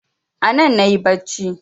Anan nayi bacci